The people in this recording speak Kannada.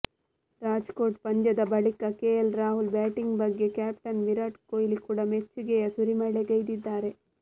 ರಾಜ್ಕೋಟ್ ಪಂದ್ಯದ ಬಳಿಕ ಕೆಎಲ್ ರಾಹುಲ್ ಬ್ಯಾಟಿಂಗ್ ಬಗ್ಗೆ ಕ್ಯಾಪ್ಟನ್ ವಿರಾಟ್ ಕೊಹ್ಲಿ ಕೂಡ ಮೆಚ್ಚುಗೆಯ ಸುರಿಮಳೆಗೈದಿದ್ದಾರೆ